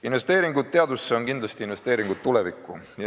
Investeeringud teadusesse on kindlasti investeeringud tulevikku.